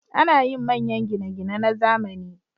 Ana yin manyan gine-gine na zamani.